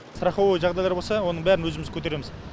страховый жағдайлар болса оның бәрін өзіміз көтереміз